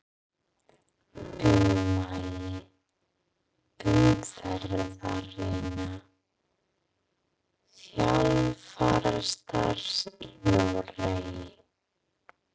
Ummæli umferðarinnar: Þjálfarastarf í Noregi?